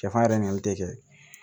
Cɛfarin yɛrɛ ɲininkali tɛ kɛ